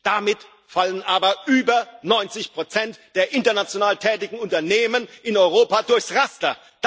Damit fallen aber über 90 der international tätigen Unternehmen in Europa durchs Raster.